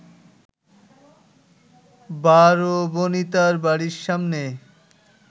বারবণিতার বাড়ির সামনে